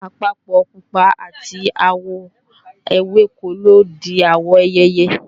àpapọ̀ pupa àti àwọ̀ ewéko ló di àwọ̀ ìyèyè